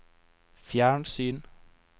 fjernsyn